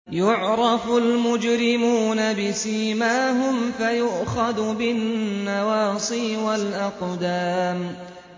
يُعْرَفُ الْمُجْرِمُونَ بِسِيمَاهُمْ فَيُؤْخَذُ بِالنَّوَاصِي وَالْأَقْدَامِ